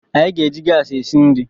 Anyị ga-eji gas esi nri